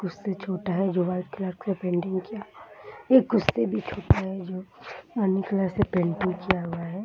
कुर्सी छोटा है जो व्हाइट कलर का पेंट किया हुआ है ये कुर्सी भी छोटा है जो रानी कलर से पेंट किया हुआ है।